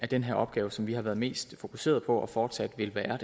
den her opgave som vi har været mest fokuseret på og fortsat vil være